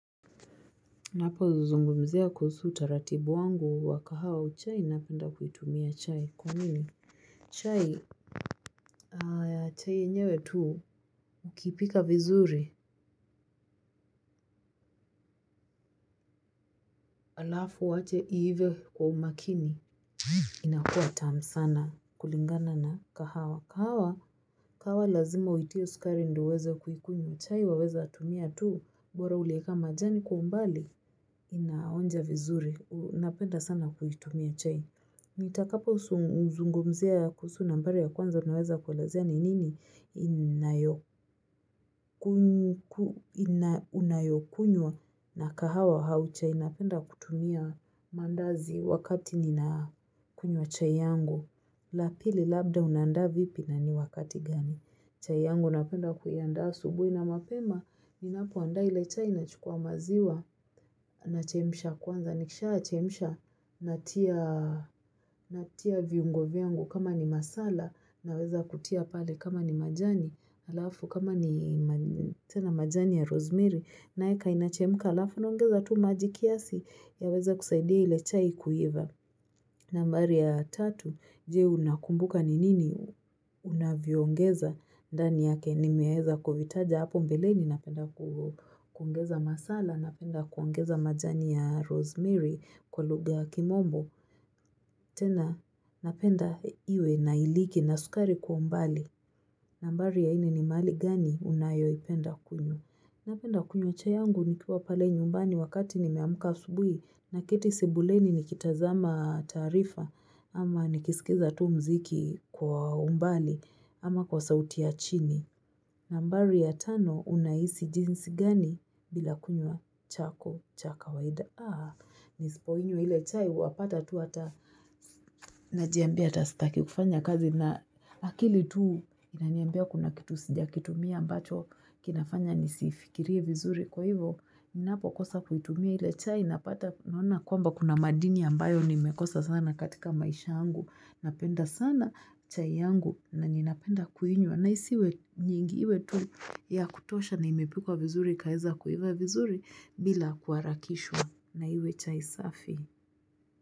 Napo zungumzia kuhusu utaratibu wangu wa kahawa au chai napenda kuitumia chai kwa nini. Chai na chai enyewe tuu ukipika vizuri alafu uwache iive kwa umakini. Inakua tam sana kulingana na kahawa. Kahawa, kahawa lazima uitie sukari ndio uweze kuikunywa chai waweza tumia tu bora ulieka majani kwa umbali. Inaonja vizuri, napenda sana kuitumia chai. Ni takapo zungumzia kuhusu nambari ya kwanza tunaweza kuelezea ni nini unayokunywa na kahawa au chai napenda kutumia mandazi wakati nina kunywa chai yangu. La pili labda unaandaa vipi na ni wakati gani. Chai yangu napenda kuiandaa asubuhi na mapema, ni napoandaa ile chai nachukua maziwa nachemsha kwanza. Nikisha chemsha natia natia viungo vyangu kama ni masala naweza kutia pale kama ni majani alafu kama ni tena majani ya rosemary. Naeka inachemka alafu naongeza tu maji kiasi yaweza kusaidia ile chai kuiva. Nambari ya tatu, je unakumbuka ni nini unavyoongeza ndani yake nimeeza kuvitaja hapo mbele ni napenda kuongeza masala, napenda kuongeza majani ya rosemary kwa lugha ya kimombo. Tena napenda iwe na iliki na sukari kwa mbali. Nambari ya nne ni mahali gani unayoi penda kunywa. Napenda kunywa chai yangu nikiwa pale nyumbani wakati nimeamka asubuhi naketi sebuleni nikitazama taarifa ama nikisikiza tu mziki kwa umbali ama kwa sauti ya chini. Nambari ya tano unaisi jinsi gani bila kunywa chako cha ka waida. Nisipoinywa ile chai, wa pata tu ata, najiambia ata sitaki kufanya kazi, na akili tu, inaniambia kuna kitu sijakitumia ambacho, kinafanya nisifikirie vizuri, kwa hivo, ninapokosa kuitumia ile chai, napata, naona kwamba kuna madini ambayo, nimekosa sana katika maisha angu, napenda sana chai yangu, na ninapenda kuinywa na isiwe nyingi iwe tu, ya kutosha na imepikwa vizuri, ikaeza kuiva vizuri, bila kuharakishwa na iwe chai safi.